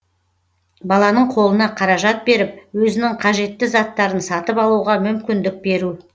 баланың қолына қаражат беріп өзінің қажетті заттарын сатып алуға мүмкіндік беру